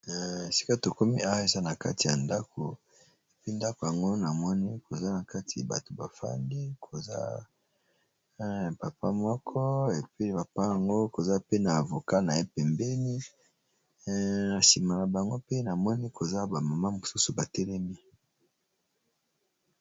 Esika tokomi awa eza na kati ya ndako epi ndako yango na moni koza na kati bato ba fangi koza papa moko epi papa yango koza pe na avocat na ye pembeni sima na bango pe na moni koza ba mama mosusu batelemi.